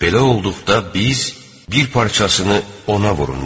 Belə olduqda biz: "Bir parçasını ona vurun" dedik.